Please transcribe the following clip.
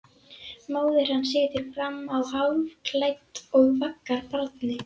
Móðir hans situr fram á hálfklædd og vaggar barni.